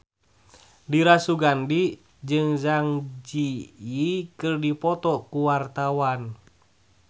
Dira Sugandi jeung Zang Zi Yi keur dipoto ku wartawan